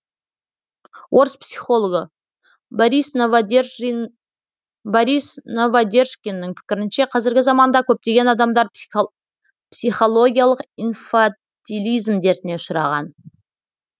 орыс психологы борис новодержкиннің пікірінше қазіргі заманда көптеген адамдар психологиялық инфатилизм дертіне ұшыраған